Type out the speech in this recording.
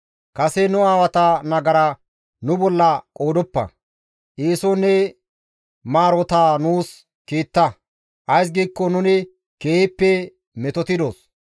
Kase nu aawata nagara nu bolla qoodoppa; eeson ne maarotaa nuus kiitta; ays giikko nuni keehippe metotidos.